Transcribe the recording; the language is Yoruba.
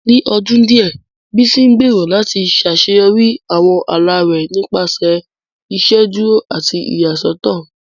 Ní ọdún díẹ̀, Bísí ń gbèrò láti ṣàṣeyọrí àwọn ala rẹ̀ nípasẹ̀ ìṣèdúró àti ìyàsọ́tọ̀